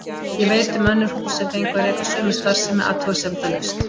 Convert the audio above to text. Ég veit um önnur hús sem fengu að reka sömu starfsemi athugasemdalaust.